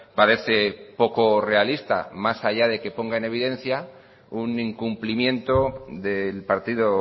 parece poco realista más allá de que ponga en evidencia un incumplimiento del partido